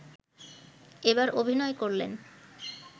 এবার অভিনয় করলেন